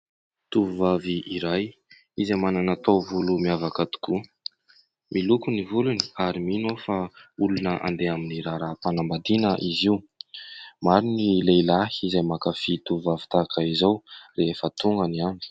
Tovovavy iray izay manana taovolo miavaka tokoa, miloko ny volony ary mino aho fa olona andeha amin'ny raharaham-panambadiana izy io. Maro ny lehilahy izay mankafy tovovavy tahak'izao rehefa tonga ny andro.